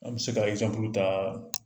An bi se ka ta